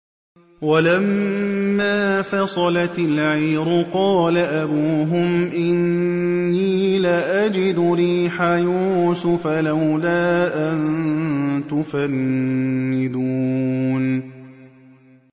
وَلَمَّا فَصَلَتِ الْعِيرُ قَالَ أَبُوهُمْ إِنِّي لَأَجِدُ رِيحَ يُوسُفَ ۖ لَوْلَا أَن تُفَنِّدُونِ